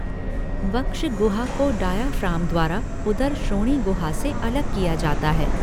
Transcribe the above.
वक्ष गुहा को डायाफ्राम द्वारा उदर श्रोणि गुहा से अलग किया जाता है।